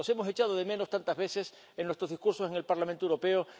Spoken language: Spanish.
los niños. Los hemos echado de menos tantas veces en nuestros discursos en el Parlamento